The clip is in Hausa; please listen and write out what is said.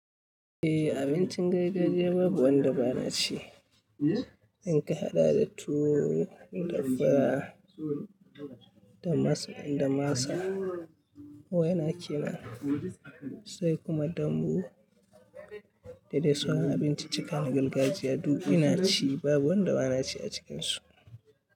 Eh, abincin gargajiya babu wanda ba na ci. In ka haɗa da tuwo, dafara da masa, masa waina kenan, sai kuma dambu da dai sauran abinci cikan na gargajiya duk ina ci babu wanda ba na ci a cikinsu.